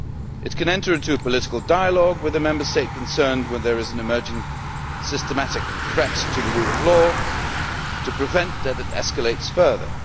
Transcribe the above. It can enter into a political dialogue with the Member State concerned when there is an emerging systematic threat to the rule of law, to prevent it escalating further.